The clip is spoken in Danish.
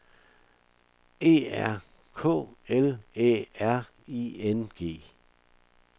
E R K L Æ R I N G